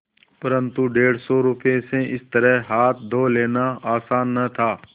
परन्तु डेढ़ सौ रुपये से इस तरह हाथ धो लेना आसान न था